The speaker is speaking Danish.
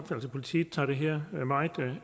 politiet tager det her meget